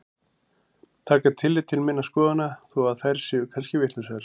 Taka tillit til minna skoðana þó að þær séu kannski vitlausar.